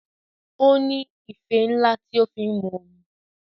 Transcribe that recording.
O ní ife ńlá tí o fi ń mu omi.